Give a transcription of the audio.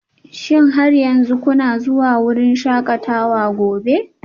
Shin har yanzu kuna zuwa wurin shakatawa gobe?